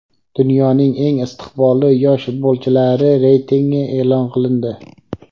Dunyoning eng istiqbolli yosh futbolchilari reytingi e’lon qilindi.